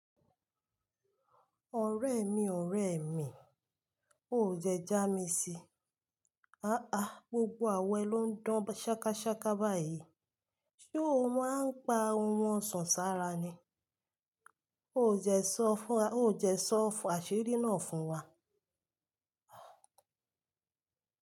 Ọ̀rẹ́ mi, ọ̀rẹ́ mi. O dẹ́ já mi sí. Àáa, gbogbo àwọn ẹ ló ń dán ṣákásáká báyìí. Ṣé o máa ń pa ohun ọ̀sàn sára ni? O dẹ sọ, o dẹ sọ àṣírí náà fún wa.